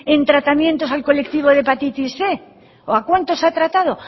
en tratamientos al colectivo de hepatitis cien o a cuántos ha tratado